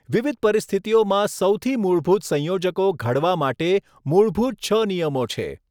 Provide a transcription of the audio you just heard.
વિવિધ પરિસ્થિતિઓમાં સૌથી મૂળભૂત સંયોજકો ઘડવા માટે મૂળભૂત છ નિયમો છે.